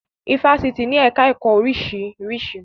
Ifásitì ní ẹ̀ká ẹ̀kọ́ oríṣiríṣi